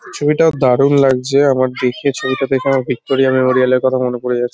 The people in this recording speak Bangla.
ছবিটা দারুন লাগজে আমার দেখে ছবিটা দেখে ভিক্টরিয়া মেমোরিয়াল এর কথা মনে পরে যাছ--